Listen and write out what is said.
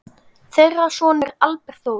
Þeirra sonur er Albert Þór.